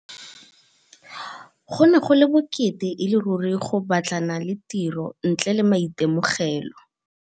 Go ne go le bokete e le ruri go batlana le tiro ntle le maitemogelo.